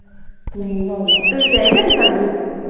ਸਹੀ ਗੱਲ ਆ ਤੁਹੀ ਗਏ ਕਦੇ ਸਰਦਨੇ